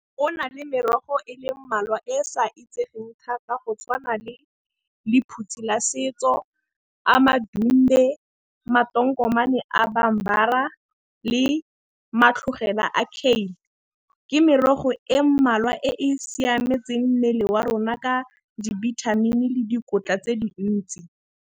Go na le merogo e le mmalwa e sa itsegeng thata go tshwana le lephutsi la setso, amadumbe, le , ke merogo e mmalwa e e siametseng mmele wa rona ka dibithamini le dikotla tse dintsi.